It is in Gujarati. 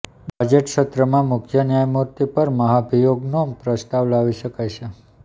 બજેટ સત્રમાં મુખ્ય ન્યાયમૂર્તિ પર મહાભિયોગનો પ્રસ્તાવ લાવી શકાય છે